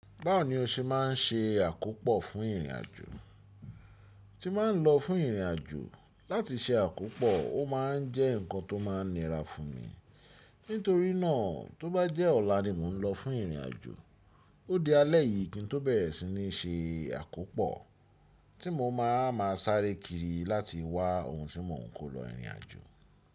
Báwo ni o ṣe máa ń ṣe àkópò fún ìrìn àjò? Tí màá ń lọ fún ìrìnàjò láti ṣe àkópò, ó ma ń jẹ́ nǹkan tó máa ń nira fún mi. Nítorí nàá tó bá jẹ́ ọ̀la ni mò ń lọ fún ìrìn àjò, ó di alẹ́ yìí kí n tó bẹ̀rẹ̀ sí ní ṣe àkópò tí mo máa ma sáré kiri láti wá ohun tí mò ń kó lọ ìrìn àjò.